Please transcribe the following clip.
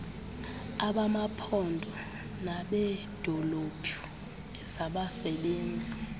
abamaphondo nabeedolophu ezabasebenzi